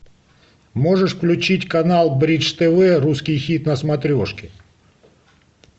можешь включить канал бридж тв русский хит на смотрешке